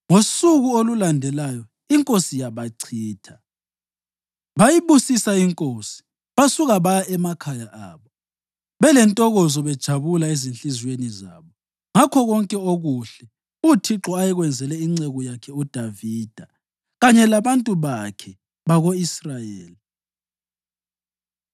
Ngosuku olulandelayo inkosi yabachitha. Bayibusisa inkosi basuka baya emakhaya abo, belentokozo bejabula ezinhliziyweni zabo ngakho konke okuhle uThixo ayekwenzele inceku yakhe uDavida kanye labantu bakhe bako-Israyeli.